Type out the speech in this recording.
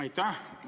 Aitäh!